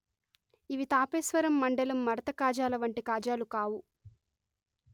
ఇవి తాపేశ్వరం మండలం మడత కాజాల వంటి కాజాలు కావు